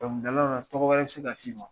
Dɔnkilidalaw la tɔgɔ wɛrɛ bi ka se ka si ma.